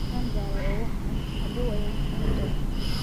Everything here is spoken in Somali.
Waan daalay oo wax cun, hadhow ayaan wax cuni doonaa.